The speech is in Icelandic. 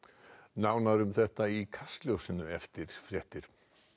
nánar um þetta í Kastljósinu eftir fréttir